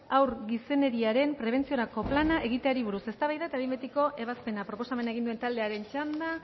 haur gizeneriaren prebentziorako plana egiteari buruz eztabaida eta behin betiko ebazpena proposamen egin duen taldearen txanda